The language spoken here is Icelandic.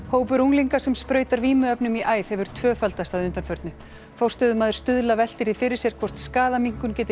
hópur unglinga sem sprautar vímuefnum í æð hefur tvöfaldast að undanförnu forstöðumaður Stuðla veltir því fyrir sér hvort skaðaminnkun geti